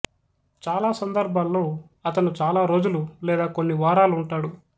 చాలా సందర్భాల్లో అతను చాలా రోజులు లేదా కొన్ని వారాలు ఉంటాడు